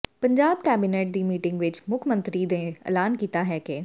Punjab cabinet ਦੀ meeting ਵਿੱਚ ਮੁੱਖ ਮੰਤਰੀ ਨੇ ਐਲਾਨ ਕੀਤਾ ਹੈ ਕਿ